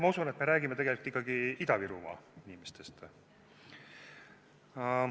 Ma usun, et me räägime tegelikult ikkagi Ida-Virumaa inimestest.